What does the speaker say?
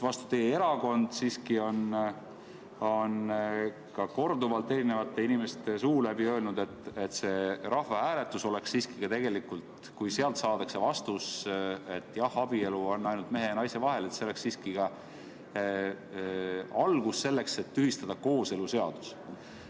Vastupidi, teie erakond on siiski korduvalt eri inimeste suu läbi öelnud, et kui rahvahääletusel saadakse vastus, et jah, abielu on mehe ja naise vahel, siis see oleks ka alus selleks, et tühistada kooseluseadus.